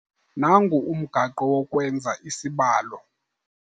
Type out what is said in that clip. Nangu umgaqo wokwenza isibalo..